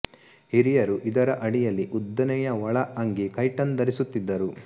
ಹಿರಿಯರು ಇದರ ಅಡಿಯಲ್ಲಿ ಉದ್ದನೆಯ ಒಳ ಅಂಗಿ ಕೈಟನ್ ಧರಿಸುತ್ತಿದ್ದರು